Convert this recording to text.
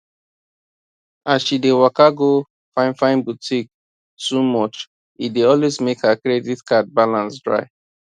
as she dey waka go finefine boutique too much e dey always make her credit card balance dry